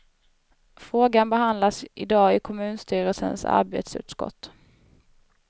Frågan behandlas i dag i kommunstyrelsens arbetsutskott.